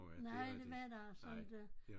Nej det var der altså inte